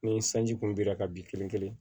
Ni sanji kun bira ka bin kelen kelen